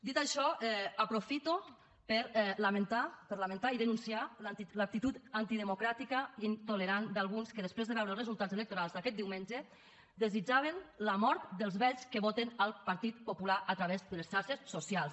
dit això aprofito per lamentar per lamentar i denunciar l’actitud antidemocràtica i intolerant d’alguns que després de veure els resultats electorals d’aquest diumenge desitjaven la mort dels vells que voten el partit popular a través de les xarxes socials